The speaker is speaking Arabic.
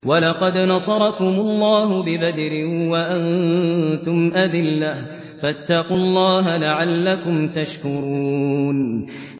وَلَقَدْ نَصَرَكُمُ اللَّهُ بِبَدْرٍ وَأَنتُمْ أَذِلَّةٌ ۖ فَاتَّقُوا اللَّهَ لَعَلَّكُمْ تَشْكُرُونَ